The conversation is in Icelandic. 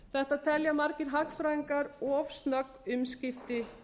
þetta telja margir hagfræðingar of snögg umskipti